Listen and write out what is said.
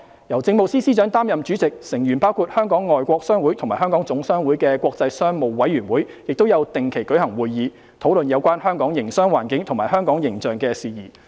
由政務司司長擔任主席，成員包括香港外國商會及香港總商會的國際商務委員會亦有定期舉行會議，討論有關香港營商環境及香港形象的事宜。